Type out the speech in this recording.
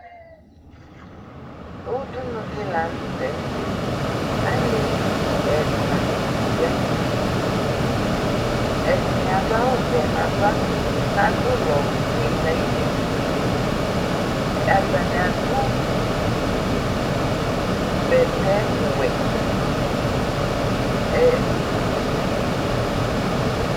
Udunu dɩ la nʋ tɛ: Alevi ɛna ya nʋ udunue; ɛdɩnɩ adʋ awʋ vɛ nava kʋ adʋ ʋlɔ fue nayili, atanɩ adʋ bɛtɛ wɛ